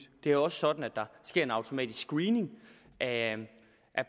det er jo også sådan at der sker en automatisk screening af